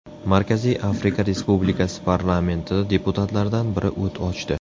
Markaziy Afrika Respublikasi parlamentida deputatlardan biri o‘t ochdi.